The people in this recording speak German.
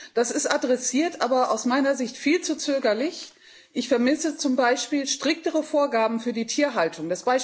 Das ist adressiert, aber aus meiner Sicht viel zu zögerlich. Ich vermisse zum Beispiel striktere Vorgaben für die Tierhaltung.